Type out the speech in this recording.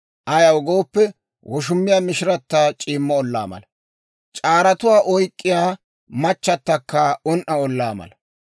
Ayaw gooppe, woshumiyaa mishirata c'iimmo ollaa mala; c'aaratuwaa oyk'k'iyaa machchatakka un"a ollaa mala.